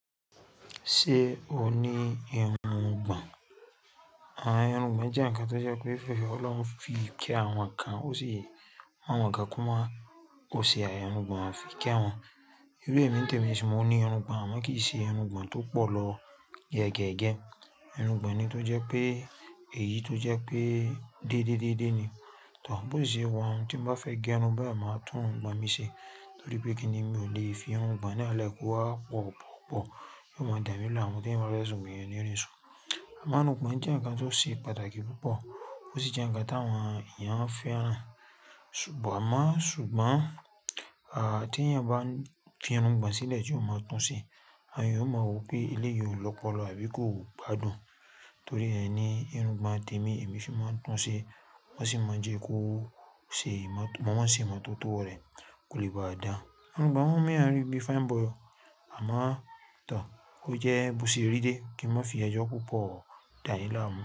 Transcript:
Ṣé o ní irungbọ̀n? Àwọn irungbọ̀n jẹ́ ǹkan tó jẹ́ pé Ọlọ́run fi ke àwọn kan ó sì mu awọ̀n kan ko máa ó sì àìni irungbọ̀n o fi ké àwọn. Irú èmi ń tẹ̀mi nsìn mo ní irungbọ̀n àmọ́ kì í ṣe irun gbọ̀n tó pọ̀ lọ yẹ́gẹ́ge. Irun gbọ̀n ni tó jẹ́ pé èyí tó jẹ́ pé dédé dédé ni. Toor bó si ṣe wà un tí ń bá fẹ́ gé irun baun máa tún irungbọ̀n mi ṣe. Torí pé kíni mi ò lè fi irun gbọ̀n náà lẹ́ ko wa pọ̀ pọ̀ pọ̀. Yío mo dámiláàmú t'eeyań bá fẹ sùn, eeyan o ni rí ṣun. Àmọ́ irun gbọ̀n jẹ́ ǹkan tó ṣe pàtàkì púpọ̀. Ó sì jẹ́ ǹkan tí àwọn èèyàn ń fẹ́ràn sugbo mo ṣùgbọ́n à tí èèyàn bá fi irun gbọ̀n sílẹ̀ tí ó máa ń tún ṣe. Àwọn èèyàn ó máa rò pé ilé yẹn ò lọ́pọ̀lọ̀ àbí kó gbádùn. Torí ẹ ni irun gbọ̀n tẹ́mi èmi fì máa ń tún ṣe wọ́n sì máa ń jẹ́ kó ṣe ìmọ̀ mo máa ṣe ìmọ̀ tó tọ́ rẹ̀ kó lè bá a dá. Irun gbọ̀n wọ́n ń rí bí fine boy o. Àmọ́ too ó jẹ́ bó si rí dé kí mọ́n fi ejọ́ púpọ̀ dáyin láàmú.